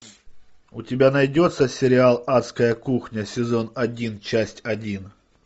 у тебя найдется сериал адская кухня сезон один часть один